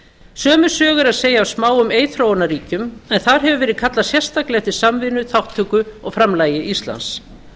sömu sögu er að segja af smáum eyþróunarríkjum en þar hefur verið kallað sérstaklega eftir samvinnu þátttöku og framlagi íslands